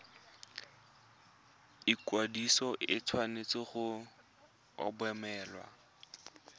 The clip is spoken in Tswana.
ikwadiso e tshwanetse go obamelwa